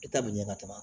E ta bi ɲɛ ka tɛmɛ